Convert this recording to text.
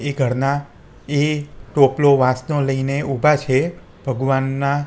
એ ઘરનાં એ ટોપલો વાંસનો લઈને ઊભા છે ભગવાનનાં--